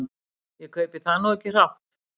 Ég kaupi það nú ekki hrátt.